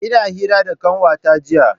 Ina hira da kanwata jiya.